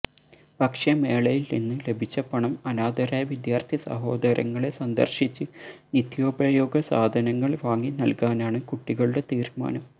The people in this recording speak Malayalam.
ഭക്ഷ്യമേളയിൽനിന്ന് ലഭിച്ച പണം അനാഥരായ വിദ്യാർഥിസഹോദരങ്ങളെ സന്ദർശിച്ച് നിത്യോപയോഗ സാധനങ്ങൾ വാങ്ങിനൽകാനാണ് കുട്ടികളുടെ തീരുമാനം